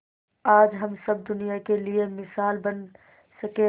आज हम सब दुनिया के लिए मिसाल बन सके है